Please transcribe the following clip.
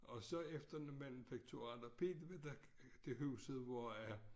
Og så efter manufekturhandler Pihl der det huset hvor jeg